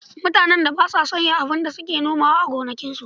Mutanen da ba sa sauya abin da suke nomawa a gonakinsu.